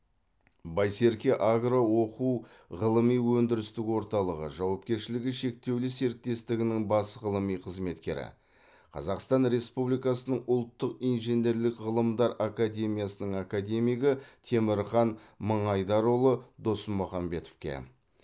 байсерке агро оқу ғылыми өндірістік орталығы жауапкершілігі шектеулі серіктестігінің бас ғылыми қызметкері қазақстан республикасының ұлттық инженерлік ғылымдар академиясының академигі темірхан мыңайдарұлы досмұхамбетовке